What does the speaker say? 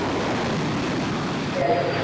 Eða ætti að vera það.